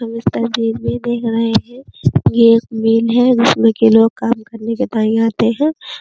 हम इस तस्वीर में देख रहे हैं कि ये एक वैन है जिसमें कि लोग काम करने के लिये आते हैं ।